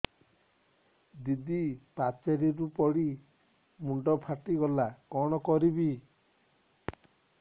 ଦିଦି ପାଚେରୀରୁ ପଡି ମୁଣ୍ଡ ଫାଟିଗଲା କଣ କରିବି